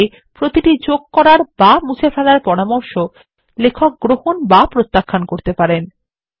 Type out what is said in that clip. এই ভাবে প্রতিটি যোগ করার বা মুছে ফেলার পরামর্শ লেখক গ্রহণ বা প্রত্যাখান করতে পারেন